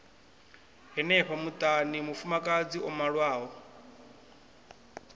henefho muṱani mufumakadzi o malwaho